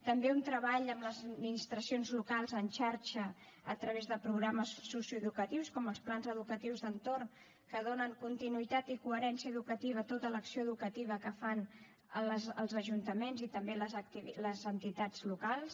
també un treball amb les administracions locals en xarxa a través de programes socioeducatius com els plans educatius d’entorn que donen continuïtat i coherència educativa a tota l’acció educativa que fan els ajuntaments i també les entitats locals